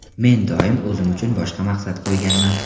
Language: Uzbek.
Men doim o‘zim uchun boshqa maqsad qo‘yganman.